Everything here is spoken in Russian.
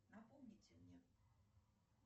напомните мне